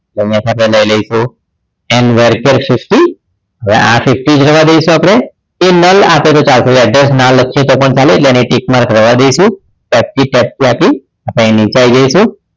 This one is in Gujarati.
એટલે અહીંયા થી આપણે લઈ લઈશું end variable char સૃષ્ટિ એટલે આ સૃષ્ટિ જ રવા દઈશું આપણે એ null આપે છે જ્યાં સુધી address ના લખીએ તો પણ ચાલે એટલે એને tick mark રવા દઈશું F threeF three આપી આપણી નીચે આવી જઈશું